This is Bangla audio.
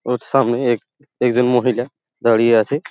ওর সামনে এক একজন মহিলা দাঁড়িয়ে আছে।